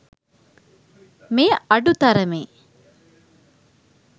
මෙය අඩු තරමේ